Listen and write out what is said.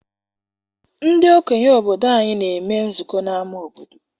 Ndị okenye obodo anyị na-eme nzukọ n'ama obodo.